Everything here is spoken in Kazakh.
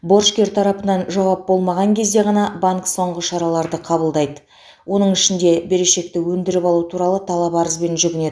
борышкер тарапынан жауап болмаған кезде ғана банк соңғы шараларды қабылдайды оның ішінде берешекті өндіріп алу туралы талап арызбен жүгінеді